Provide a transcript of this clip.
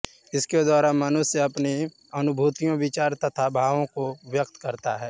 इसके द्वारा मनुष्य अपनी अनुभूतियों विचारों तथा भावों को व्यक्त करता है